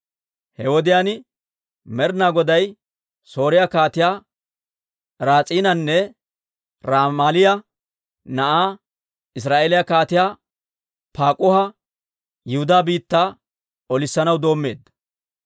He wodiyaan Med'ina Goday Sooriyaa Kaatiyaa Raas'iinanne Ramaaliyaa na'aa, Israa'eeliyaa Kaatiyaa Paak'uha Yihudaa biittaa olissanaw doommeedda.